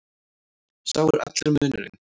Sá er allur munurinn.